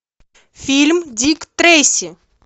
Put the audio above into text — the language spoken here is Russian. фильм дик трейси